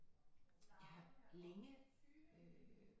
Jeg har længe øh